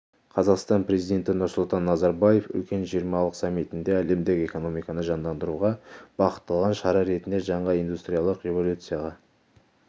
қазақстан президенті нұрсұлтан назарбаев үлкен жиырмалық саммитінде әлемдік экономиканы жандандыруға бағытталған шара ретінде жаңа индустриялық революцияға